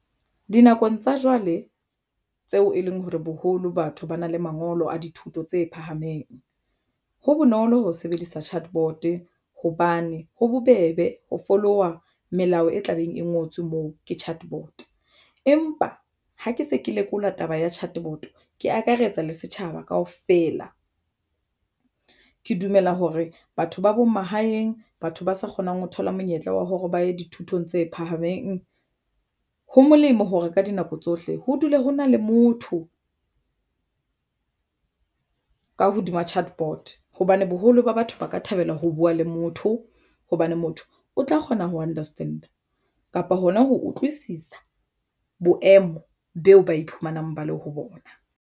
Dinakong tsa jwale tseo e leng hore boholo batho ba na le mangolo a dithuto tse phahameng. Ho bonolo ho sebedisa chat bot hobane ho bobebe ho fologa melao e tlabeng e ngotswe moo ke chatbot, empa ha ke se ke lekola taba ya chat bot ke akaretsa le setjhaba kaofela ke dumela hore batho ba bo mahaeng batho ba sa kgonang ho thola monyetla wa hore ba ye dithutong tse phahameng. Ho molemo hore ka dinako tsohle ho dule ho na le motho ka hodima chat bot hobane boholo ba batho ba ka thabela ho buwa le motho, hobane motho o tla kgona ho understand-a kapa hona ho utlwisisa boemo beo ba iphumanang ba le ho bona.